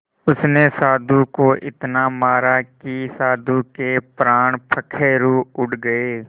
उसने साधु को इतना मारा कि साधु के प्राण पखेरु उड़ गए